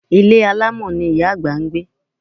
Ilé alámọ̀ ni Ìyá àgbà ń gbé.